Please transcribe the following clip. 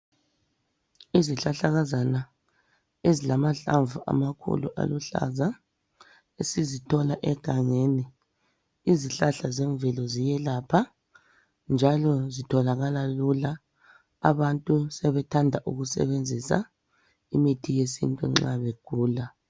Izihlahlakaza ezilamhlamvu amakhulu aluhlaza esizithola egangeni. Izihlahla zemvelo ziyelapha njalo zitholaka lula. Abantu sebethanda ukusebenzisa imithi yesintu nxa begula.